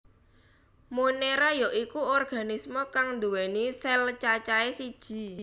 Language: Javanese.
Monera ya iku organisme kang nduwèni sel cacahe siji